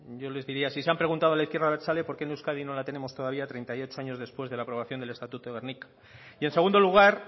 yo les diría si se han preguntado a la izquierda abertzale por qué en euskadi todavía no la tenemos treinta y ocho años después de la aprobación del estatuto de gernika y en segundo lugar